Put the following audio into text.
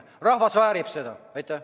Rahvas väärib seda!